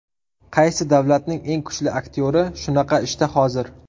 Qaysi davlatning eng kuchli aktyori shunaqa ishda hozir?